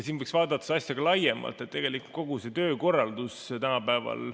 Siin võiks vaadata asja laiemalt, tegelikult kogu tänapäeva töökorraldust.